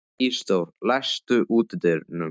Ísidór, læstu útidyrunum.